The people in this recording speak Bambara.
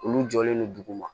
Olu jɔlen don duguma